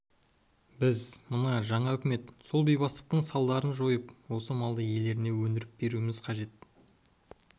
біз мына жаңа үкімет сол бейбастақтықтың салдарын жойып осы малды иелеріне өндіріп беруіміз керек